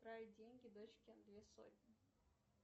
отправить деньги дочке две сотни